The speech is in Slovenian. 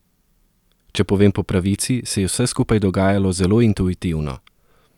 Če povem po pravici, se je vse skupaj dogajalo zelo intuitivno.